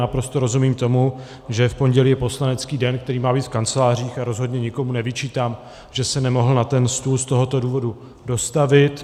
Naprosto rozumím tomu, že v pondělí je poslanecký den, který má být v kancelářích, a rozhodně nikomu nevyčítám, že se nemohl na ten stůl z tohoto důvodu dostavit.